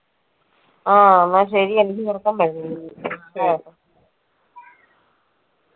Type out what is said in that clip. ആ എന്ന ശരി എനിക്ക് ഉറക്കം വരുന്നു.